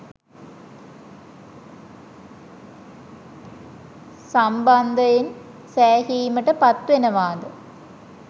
සම්බන්ධයෙන් සෑහීමට පත්වෙනවාද?